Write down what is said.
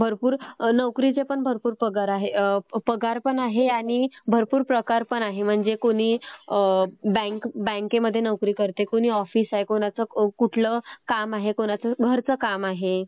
भरपूर नोकरीचे पण भरपूर पगार आहे पगार पण आहे आणि भरपूर प्रकार पण आहेत. म्हणजे कुणी बँकेमध्ये नोकरी करते, कुणी ऑफिस आहे, कुणाचं कुठलं काम आहे, कुणाचं घरचं काम आहे